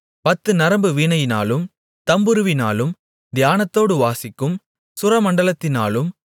பத்துநரம்பு வீணையினாலும் தம்புருவினாலும் தியானத்தோடு வாசிக்கும் சுரமண்டலத்தினாலும்